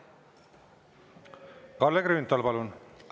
Kalle Grünthal, palun!